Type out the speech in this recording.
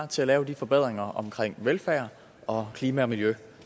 til at lave de forbedringer omkring velfærd og klima og miljø